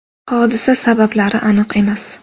Hodisa sabablari aniq emas.